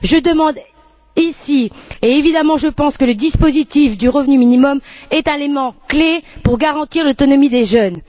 Je le demande ici, et évidemment, je pense que le dispositif du revenu minimum est un élément clé pour garantir l'autonomie des jeunes.